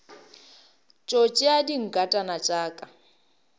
tšo tšea dinkatana tša ka